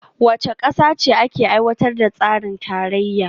Wace kasa ce ke aiwatar da tsarin tarayya?